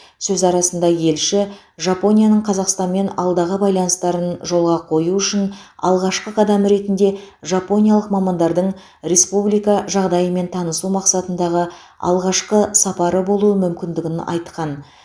сөз арасында елші жапонияның қазақстанмен алдағы байланыстарын жолға қою үшін алғашқы қадам ретінде жапониялық мамандардың республика жағдайымен танысу мақсатындағы алғашқы сапары болуы мүмкіндігін айтқан